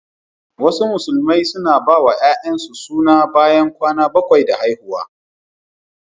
Wasu Musulmai suna bawa 'ya'yansu suna bayan kwana bakwai da haihuwa.